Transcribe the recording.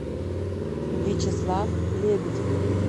вячеслав лебедев